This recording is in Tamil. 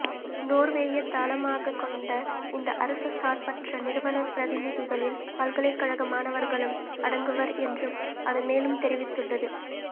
நோர்வேயைத் தளமாகக் கொண்ட இந்த அரச சார்பற்ற நிறுவனப் பிரதிநிதிகளில் பல்கலைக்கழக மாணவர்களும் அடங்குவர் என்றும் அது மேலும் தெரிவித்துள்ளது